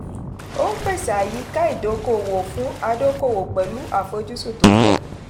ó ń pèsè àyíká ìdókòòwò fún adókòwò pẹ̀lú àfojúsùn tó pọ̀.